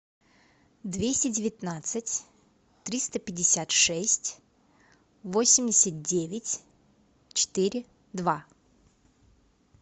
двести девятнадцать триста пятьдесят шесть восемьдесят девять четыре два